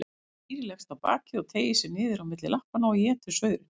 Dýrið leggst á bakið og teygir sig niður á milli lappanna og étur saurinn.